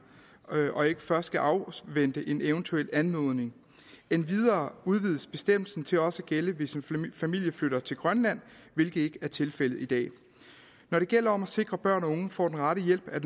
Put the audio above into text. og ikke først skal afvente en eventuel anmodning endvidere udvides bestemmelsen til også at gælde hvis en familie flytter til grønland hvilket ikke er tilfældet i dag når det gælder om at sikre at børn og unge får den rette hjælp er